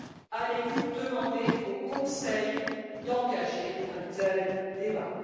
Allez vous demander au Conseil d'engager un tel débat?